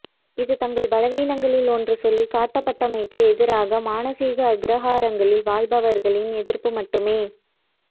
இது தங்கள் பலவீனங்களில் ஒன்று சொல்லிக்காட்டப்பட்டமைக்கு எதிராக மானசீக அக்ரஹாரங்களில் வாழ்பவர்களின் எதிர்ப்பு மட்டுமே